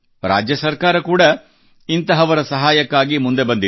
ರಾಜ್ಯ ಸರ್ಕಾರ ಕೂಡ ಇಂಥವರ ಸಹಾಯಕ್ಕಾಗಿ ಮುಂದೆ ಬಂದಿದೆ